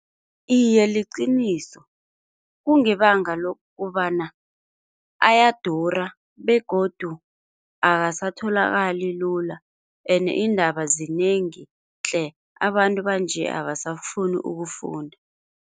Iye liqiniso, kungebanga lokubana ayadura begodu akasatholakali lula ende iindaba zinengi tle. Abantu banje abasafuni ukufunda.